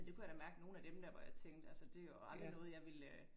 Det kunne jeg da mærke nogen af dem der, hvor jeg tænkte altså det jo aldrig noget jeg ville øh